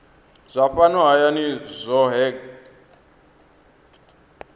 zwa fhano hayani zwohe gdp